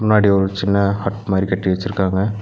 முன்னாடி ஒரு சின்ன ஹட் மாரி கட்டி வெச்சிருக்காங்க.